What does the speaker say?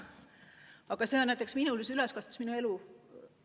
Aga selline on olnud näiteks minuealise üleskasvamine, minu elu.